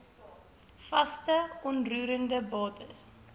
vaste onroerende bates